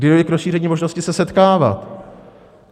Kdy dojde k rozšíření možnosti se setkávat?